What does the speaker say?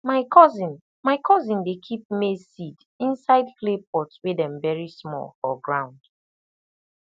my cousin my cousin dey keep maize seed inside clay pot wey dem bury small for ground